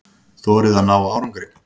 Þorið að ná árangri.